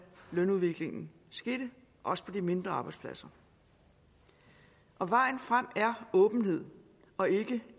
lønudviklingen skete også på de mindre arbejdspladser og vejen frem er åbenhed og ikke